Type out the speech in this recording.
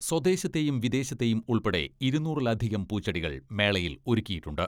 സ്വദേശത്തെയും വിദേശത്തെയും ഉൾപ്പെടെ ഇരുനൂറിലധികം പൂച്ചെടികൾ മേളയിൽ ഒരുക്കിയിട്ടുണ്ട്.